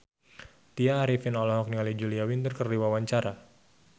Tya Arifin olohok ningali Julia Winter keur diwawancara